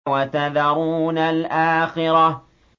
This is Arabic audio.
وَتَذَرُونَ الْآخِرَةَ